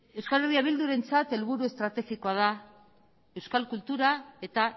euskal herria bildurentzat helburu estrategikoa da euskal kultura eta